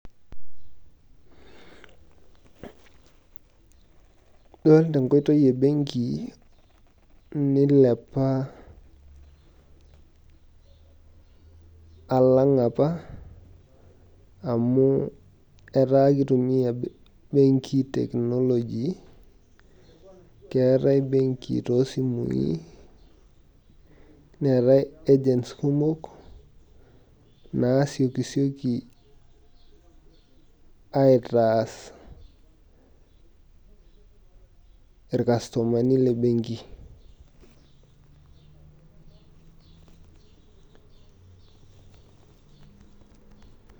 Pause for more than three seconds.